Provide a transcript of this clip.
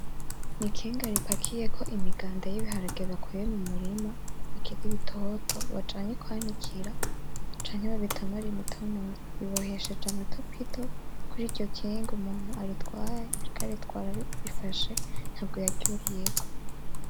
Nikinga ripakiyeko imigiganda yibiharage bakuye mumurima bikiri bitoto bagiye kwanikira canke babitonore imitonore bibohesheje amatopito , kuryo Kinga umuntu aritwaye , ariko aritwara arifashe ntabwo yaryuriyeko.